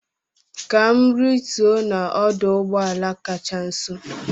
Ka m rituo n'ọdụ ụgbọ ala kacha nso